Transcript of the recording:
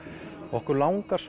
okkur langar